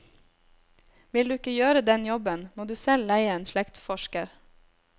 Vil du ikke gjøre den jobben, må du selv leie en slektsforsker.